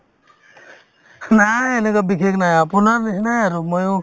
নাই এনেকুৱা বিশেষ নাই আপোনাৰ নিচিনাই আৰু ময়ো